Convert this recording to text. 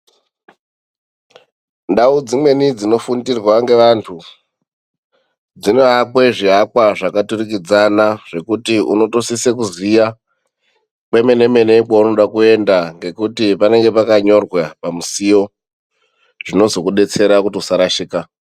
Ndau dzimweni dzinofundirwa ngevantu, dzinoakwa zviakwa zvakaturikidzana zvekuti unotosisa kuziya kwemenemene kwaunoda kuenda ngekuti panenge pakanyorwa pamusiyo zvinozokudetsera kuti usarashika.